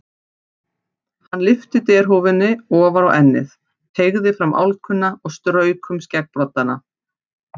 Hann lyfti derhúfunni ofar á ennið, teygði fram álkuna og strauk um skeggbroddana.